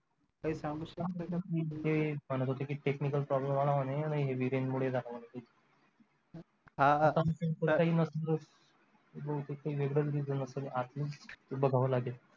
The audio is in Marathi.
काही सांगू शकत नाही म्हणजे म्हणत होते काही technical problem आला म्हणे heavy rain मुळे झालं म्हणे बहुतेक काही वेगळंच reason असल आतून ते बघावं लागेल